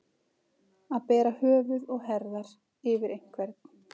Að bera höfuð og herðar yfir einhvern